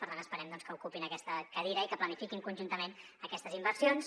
per tant esperem que ocupin aquesta cadira i que planifiquin conjuntament aquestes inversions